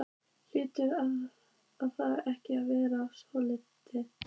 Hlýtur það ekki að vera sorglegt?